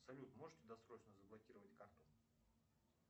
салют можете досрочно заблокировать карту